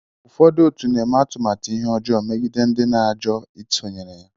ụfọdụ otu na-eme atụmatụ ihe ọjọọ megide ndị na-ajụ isonyere ha